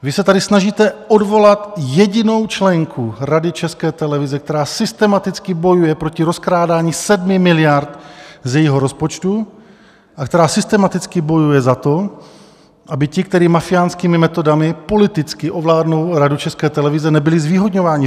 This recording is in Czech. Vy se tady snažíte odvolat jedinou členku Rady České televize, která systematicky bojuje proti rozkrádání 7 miliard z jejího rozpočtu a která systematicky bojuje za to, aby ti, kteří mafiánskými metodami politicky ovládnou Radu České televize, nebyli zvýhodňováni.